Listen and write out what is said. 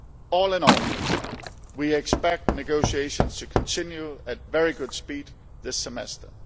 All in all, we expect negotiations to continue at very good speed this semester.